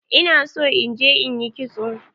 Ina so in je in ƴi kitso.